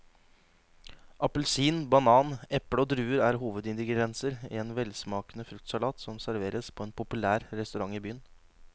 Appelsin, banan, eple og druer er hovedingredienser i en velsmakende fruktsalat som serveres på en populær restaurant i byen.